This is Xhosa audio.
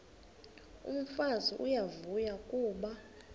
umfazi uyavuya kuba